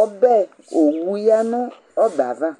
Owʊ ya nɔbɛ ava